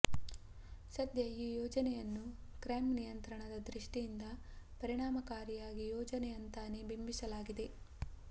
ಸದ್ಯ ಈ ಯೋಜನೆಯನ್ನು ಕ್ರೈಂ ನಿಯಂತ್ರಣದ ದೃಷ್ಟಿಯಿಂದ ಪರಿಣಾಮಕಾರಿ ಯೋಜನೆ ಅಂತಾನೇ ಬಿಂಬಿಸಲಾಗಿದೆ